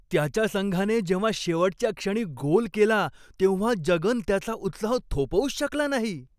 त्याच्या संघाने जेव्हा शेवटच्या क्षणी गोल केला तेव्हा जगन त्याचा उत्साह थोपवूच शकला नाही.